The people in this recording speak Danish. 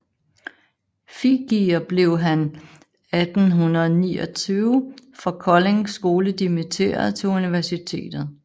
Fibiger blev han 1829 fra Kolding Skole dimitteret til universitetet